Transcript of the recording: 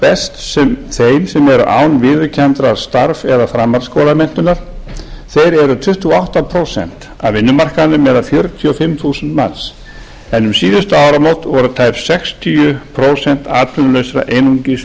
best þeim eru án viðurkenndrar starfs eða framhaldsskólamenntunar þeir eru tuttugu og átta prósent af vinnumarkaðnum eða fjörutíu og fimm þúsund manns en um síðustu áramót voru um tæp sextíu prósent atvinnulausra einungis